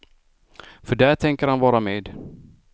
För där tänker han vara med.